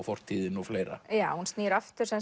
fortíðin og fleira já hún snýr aftur